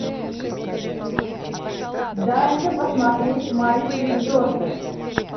дай мне посмотреть майские звезды